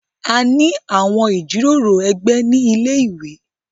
A ní àwọn ìjíròrò ẹgbẹ̀ ní ilẹ̀-iwé.